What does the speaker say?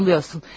Yanılırsan.